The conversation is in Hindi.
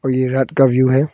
ये रात का व्यू है।